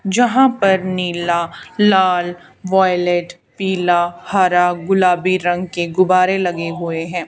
जहां पर नीला लाल वायलेट पीला हरा गुलाबी रंग के गुब्बारे लगे हुए हैं।